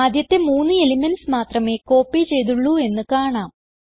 ആദ്യത്തെ മൂന്ന് എലിമെന്റ്സ് മാത്രമേ കോപ്പി ചെയ്തുള്ളൂ എന്ന് കാണാം